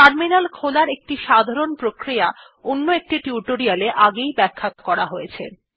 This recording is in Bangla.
টার্মিনাল খোলার একটি সাধারণ প্রক্রিয়া অন্য একটি টিউটোরিয়ালে আগেই ব্যাখ্যা করা হয়েছে